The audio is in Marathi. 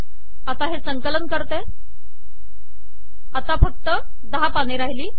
आता संकलन करते आता फक्त १० पाने राहिली